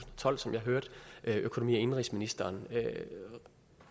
tolv som jeg hørte økonomi og indenrigsministeren